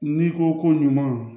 N'i ko ko ɲuman